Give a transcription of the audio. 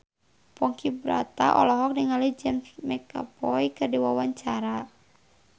Ponky Brata olohok ningali James McAvoy keur diwawancara